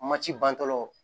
Ma ci bantɔlaw